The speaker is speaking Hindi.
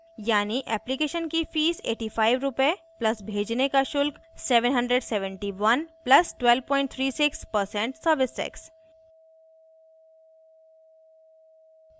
यानि application fee 8500 रुपए + भेजने का शुल्क 77100 + 1236% service tax